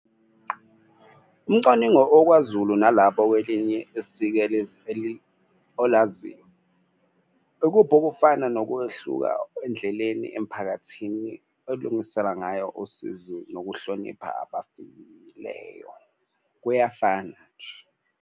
Umcwaningo okwaZulu nalapho kwelinye olaziyo ikuphi okufana nokwehluka endleleni emphakathini elungisela ngayo usizi nokuhlonipha abafileyo kuyafana nje.